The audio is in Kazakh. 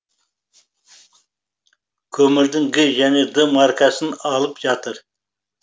көмірдің г және д маркасын алып жатыр